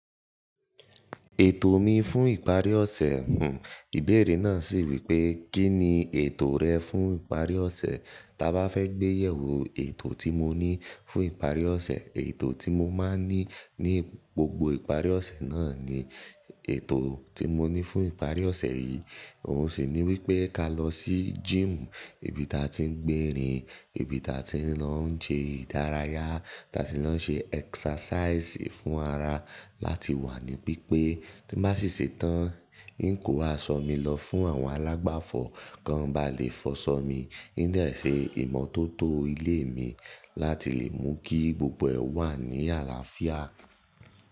Ètò mi fún ìparí ọ̀sẹ̀, n ìbéèrè náà sì wí pé kí ni ètò rẹ fún ìparí ọ̀sẹ̀? Taa bá fẹ́ gbé yẹ̀wò ètò tí mo ní fún ìparí ọ̀sẹ̀, ètò tí mo máa ń ní ní gbogbo ìparí ọ̀sẹ̀ náà ni ètò tí mo ní fún ìparí ọ̀sẹ̀ yìí. Òun sì ní wí pé ká lọ sí gym ibi ta ti ń gbèrín, ibi ta ti ń lọ ṣe ìdárayá, ta ti lọ ń ṣe exercise ì fún ara láti wà ní pípé. Tí n bá sì ṣetán, i ń kò asọ mí lọ fún àwọn alágbàfọ̀ kán ba lè fọṣọ mí. I ń dẹ̀ ṣe ìmọ́tótó ilé mi láti lè mú kí gbogbo ẹ̀ wà ní àlàáfíà.